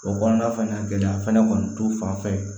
O kɔnɔna fɛnɛ gɛlɛya fɛnɛ t'u fan fɛ